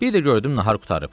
Bir də gördüm nahar qurtarıb.